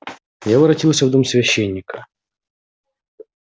я воротился в дом священника